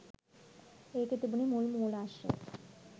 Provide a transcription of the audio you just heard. ඒකෙ තිබුන මුල් මූලාශ්‍රය